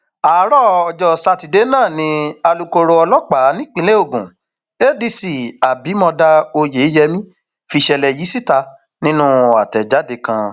àárọ ọjọ sátidé náà ni alūkkoro ọlọpàá nípínlẹ ogun adc abimodá oyeyẹmí fìṣẹlẹ yìí síta nínú àtẹjáde kan